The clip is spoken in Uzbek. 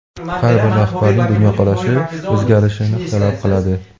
har bir rahbarning dunyoqarashi o‘zgarishini talab qiladi.